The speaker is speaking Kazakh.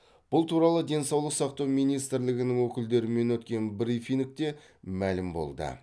бұл туралы денсаулық сақтау министрлігінің өкілдерімен өткен брифингте мәлім болды